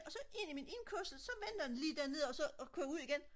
og så ind i min indkørsel så vender den lige dernede og så kører ud igen